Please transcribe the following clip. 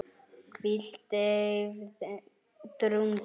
hvíld, deyfð, drungi